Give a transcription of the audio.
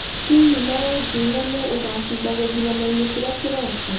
Hihi no ũnjĩĩre nũũ ũgaacinda gĩthuranoinĩ kĩrĩa kĩroka